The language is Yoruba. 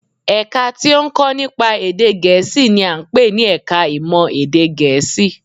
Ẹ̀ka tí ó ń kọ́ nípa èdè Gẹ̀ẹ́sì n i à ń pè ní ẹka ìmọ̀ èdè Gẹ̀ẹ́sì